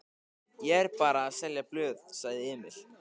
Ég er bara að selja blöð, sagði Emil.